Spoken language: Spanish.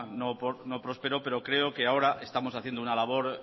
no prosperó pero creo que ahora estamos haciendo una labor